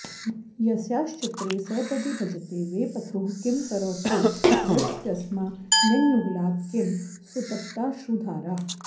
यस्याश्चित्रे सपदि भजते वेपथुः किं करौ ते वर्षत्यस्मान्नयनयुगळात् किं सुतप्ताश्रुधारा